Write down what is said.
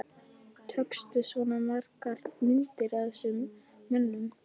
Tókstu svona margar myndir af þessum mönnum?